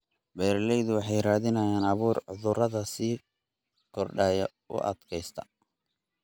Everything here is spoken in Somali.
Beeraleydu waxay raadinayaan abuur cudurrada sii kordhaya u adkaysta.